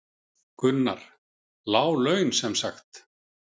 Gunnar: Lág laun sem sagt?